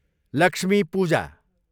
Lakshmi Puja